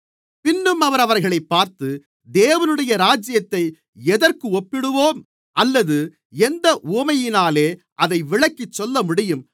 பின்னும் அவர் அவர்களைப் பார்த்து தேவனுடைய ராஜ்யத்தை எதற்கு ஒப்பிடுவோம் அல்லது எந்த உவமையினாலே அதை விளக்கிச் சொல்லமுடியும்